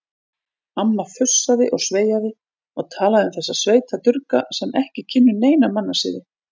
Amma fussaði og sveiaði og talaði um þessa sveitadurga sem ekki kynnu neina mannasiði.